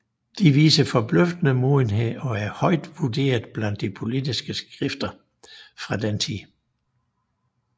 De viser forbløffende modenhed og er højt vurderet blandt de politiske skrifter fra den tid